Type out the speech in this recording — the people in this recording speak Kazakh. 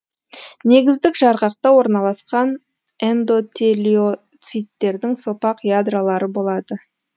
негіздік жарғақта орналасқан эндотелиоциттердің сопақ ядролары болады